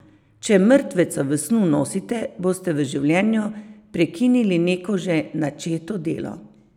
Če mrtveca v snu nosite, boste v življenju prekinili neko že načeto delo.